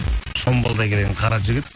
шомбалдай келген қара жігіт